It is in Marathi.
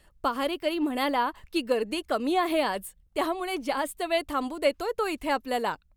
पहारेकरी म्हणाला की गर्दी कमी आहे आज. त्यामुळे जास्त वेळ थांबू देतोय तो इथे आपल्याला.